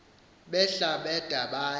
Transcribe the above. behla bada baya